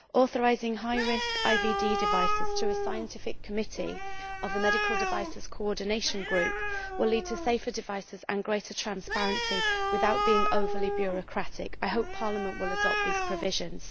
Authorising high risk IVD devices to a scientific committee of the Medical Device Coordination Group will lead to safer devices and greater transparency without being overly bureaucratic. I hope Parliament will adopt these provisions.